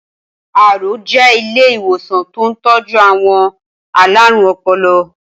Aro jè ilé iwósàn tó n tọ̀jù awọn àlárún ọpọlọ